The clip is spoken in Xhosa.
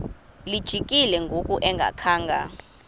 lijikile ngoku engakhanga